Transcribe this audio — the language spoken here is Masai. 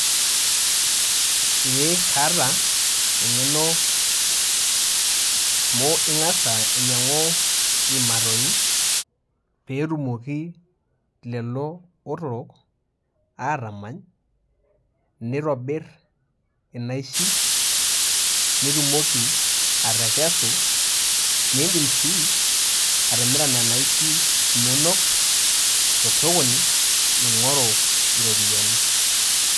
Eee kaata eng'eno amu ing'asa ainyang'u iimatoi peetumoki lelo otorok aatamany, nitobir inaishi nitumoki atekesu. Niindim sii atimira nena aishi inonok to sokoni ing'oru iropiani.